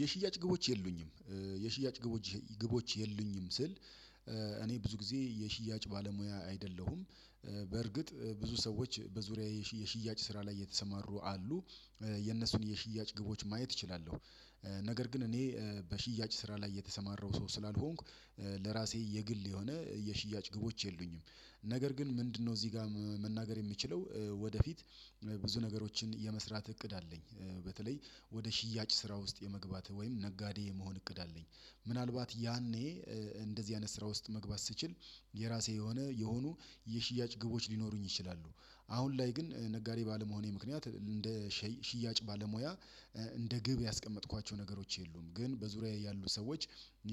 የሽያጭ ግቦች የሉኝም የሽያጭ ግቦች ግቦች የሉኝም ስል እኔ ብዙ ጊዜ የሽያጭ ባለሙያ አይደለሁም። በርግጥ ብዙ ሰዎች በዙሪያዬ የሽያጭ ስራ ላይ የተሰማሩ አሉ። የነሱን የሽያጭ ግቦች ማየት እችላለሁ። ነገር ግን እኔ በሽያጭ ስራ ላይ የተሰማራው ሰው ስላልሆንኩ ለራሴ የግል የሆነ የሽያጭ ግቦች የሉኝም። ነገር ግን ምንድነው እዚህ ጋር መናገር የምችለው ወደፊት ብዙ ነገሮችን የመስራት እቅድ አለኝ በተለይ ወደ ሽያጭ ስራ ውስጥ የመግባትህ ወይም ነጋዴ የመሆን እቅድ አለኝ። ምናልባት ያኔ እንደዚህ አይነት ስራ ውስጥ መግባት ስችል የራሴ የሆነ የሆኑ የሽያጭ ግቦች ሊኖሩኝ ይችላሉ። አሁን ላይ ግን ነጋዴ ባለመሆኔ ምክንያት እንደ ሽያጭ ባለሙያ እንደ ግብ ያስቀመጥኳቸው ነገሮች የሉም። ግን በዙሪያዬ ያሉ ሰዎች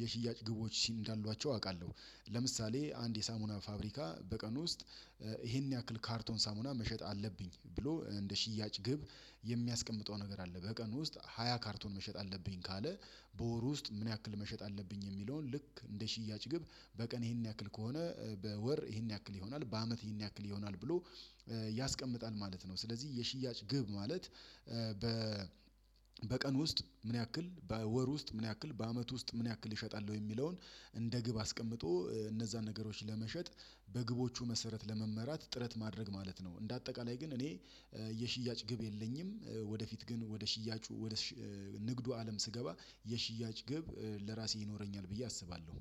የሽያጭ ግቦች ሲም እንዳሏቸው አውቃለሁ። ለምሳሌ አንድ የሳሙና ፋብሪካ በቀን ውስጥ ይሄን ያክል ካርቶን ሳሙና መሸጥ አለብኝ ብሎ እንደ ሽያጭ ግብ። የሚያስቀምጠው ነገር አለ በቀን ውስጥ ሃያ ካርቶን መሸጥ አለብኝ ካለ። በወሩ ውስጥ ምን ያክል መሸጥ አለብኝ የሚለውን ልክ እንደ ሽያጭ ግብ በቀን ይሄንን ያክል ከሆነ በወር ይሄን ያክል ይሆናል በአመት ይሄን ያክል ይሆናል ብሎ ያስቀምጣል ማለት ነው። ስለዚህ የሽያጭ ግብ ማለት። በ በቀን ውስጥ ምን ያክል በወር ውስጥ ምን ያክል በአመት ውስጥ ምን ያክል ይሸጣል የሚለውን እንደ ግብ አስቀምጦ እነዛን ነገሮች ለመሸጥ በግቦቹ መሰረት ለመመራት ጥረት ማድረግ ማለት ነው። እንደ አጠቃላይ ግን እኔ የሽያጭ ግብ የለኝም። ወደፊት ግን ወደ ሽያጩ ወደ ንግዱ አለም ስገባ የሽያጭ ግብ ለራሴ ይኖረኛል ብዬ አስባለሁ።